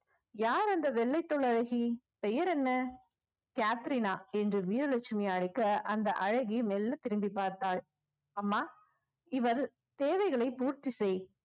யார் அந்த வெள்ளை தோள் அழகி பெயர் என்ன கேதேறினா என்று வீரலட்சுமி அழைக்க அந்த அழகி மெல்ல திரும்பி பார்த்தாள் அம்மா இவள் தேவைகளை பூர்த்தி செய்